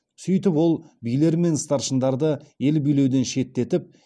сөйтіп ол билер мен старшындарды ел билеуден шеттетіп